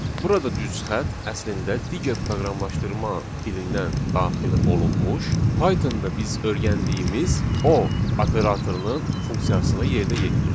Burada düz xətt əslində digər proqramlaşdırma dilindən daxil olunmuş Pythonda biz öyrəndiyimiz o operatorunun funksiyasını yerinə yetirir.